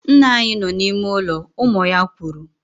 Nna anyị nọ n'ime ụlọ, ụmụ ya kwuru